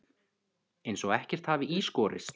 Eins og ekkert hafi í skorist.